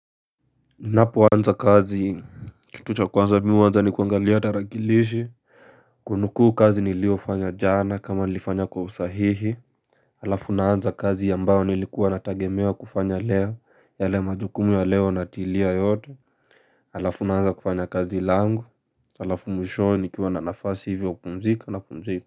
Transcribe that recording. Ninapoanza kazi. Kitu cha kwanza mimi huanza ni kuangalia tarakilishi. Kunukuu kazi niliyofanya jana kama nilifanya kwa usahihi. Alafu naanza kazi ambao nilikuwa natagemewa kufanya leo. Yale majukumu ya leo natilia yote. Alafu naanza kufanya kazi langu. Alafu mwishoe nikiwa na nafasi ivio ya kupumzika napumzika.